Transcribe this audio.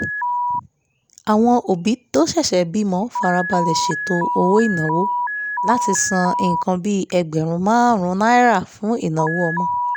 àwọn òbí tó ṣẹ̀ṣẹ̀ bímọ farabalẹ̀ ṣètò owó ìnáwó láti san nǹkan bí ẹgbẹ̀rún márùn-ún náírà fún ìnáwó ọmọ